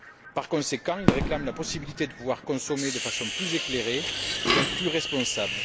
Par conséquent, ils réclament la possibilité de pouvoir consommer de façon plus éclairée et donc plus responsable.